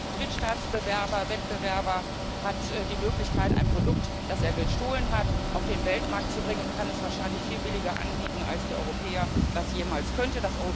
Und der Drittstaatswettbewerber hat die Möglichkeit, ein Produkt, das er gestohlen hat, auf den Weltmarkt zu bringen, und kann es wahrscheinlich viel billiger anbieten als der Europäer das jemals könnte.